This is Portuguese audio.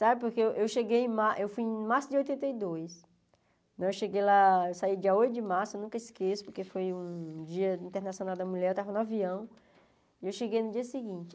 Sabe, porque eu eu cheguei em mar eu fui em março de oitenta e dois, eu cheguei lá eu saí dia oito de março, eu nunca esqueço, porque foi um dia internacional da mulher, eu estava no avião, e eu cheguei no dia seguinte.